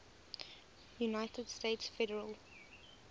united states federal